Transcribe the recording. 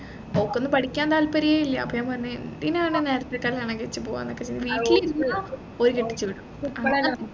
ഓക്കൊന്നും പഠിക്കാൻ താൽപര്യെ ഇല്ല അപ്പൊ ഞാൻ പറഞ്ഞു പിന്നെ നേരെത്തെ കല്യാണം കഴിച്ച് പോവാനൊക്കെ ചോദിച്ചു വീട്ടിലിരുന്നു ഓര് കെട്ടിച്ചു വിടും